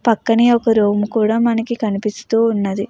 పక్కనే ఒక రూమ్ కూడా కనిపిస్తూ వున్నది.